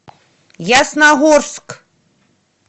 ясногорск